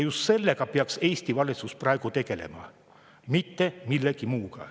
Just sellega peaks Eesti valitsus praegu tegelema, mitte millegi muuga.